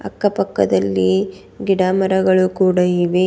ಅಕ್ಕ ಪಕ್ಕದಲ್ಲಿ ಗಿಡಮರಗಳು ಕೂಡ ಇವೆ.